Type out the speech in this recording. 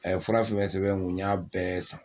A ye fura fɛn fɛn sɛbɛn n kun n y'a bɛɛ san